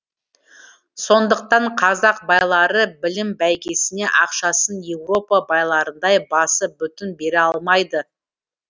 сондықтан қазақ байлары білім бәйгесіне ақшасын еуропа байларындай басы бүтін бере алмайды